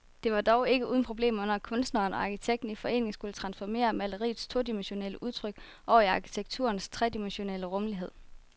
Det var dog ikke uden problemer, når kunstneren og arkitekten i forening skulle transformere maleriets todimensionelle udtryk over i arkitekturens tredimensionelle rumlighed.